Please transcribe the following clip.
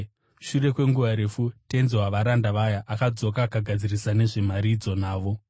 “Shure kwenguva refu tenzi wavaranda vaya akadzoka akagadzirisa nezvemari idzi navo.